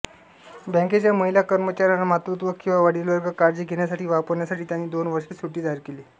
बँकेच्या महिला कर्मचाऱ्यांना मातृत्व किंवा वडीलवर्ग काळजी घेण्यासाठी वापरण्यासाठी त्यांनी दोन वर्षाची सुट्टी जाहीर केली